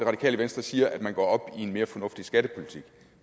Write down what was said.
radikale venstre siger at man går op i en mere fornuftig skattepolitik